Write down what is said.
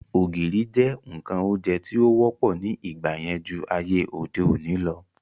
Ògìrì jẹ́ ǹkan oúnjẹ tí ó wọ́pọ̀ ní ìgbà yẹn ju ayé òde òni lọ